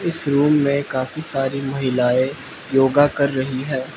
इस रूम में काफी सारी महिलाएं योगा कर रही है।